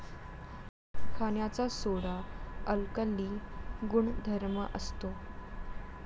खाण्याचा soda alkali गुणधर्म असतो.